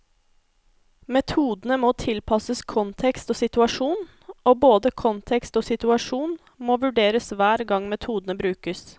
Metodene må tilpasses kontekst og situasjon, og både kontekst og situasjon må vurderes hver gang metodene brukes.